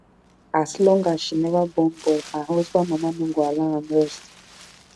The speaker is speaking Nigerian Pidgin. as long as she never born boy her husband mama no go allow am rest